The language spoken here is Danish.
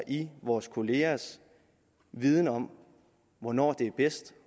i vores kollegaers viden om hvornår det er bedst